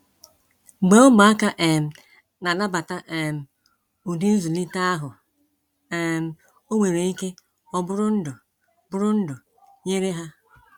Mgbe ụmụaka um na-anabata um ụdị nzụlite ahụ, um ọ nwere ike ọ bụrụ ndụ bụrụ ndụ nyere ha.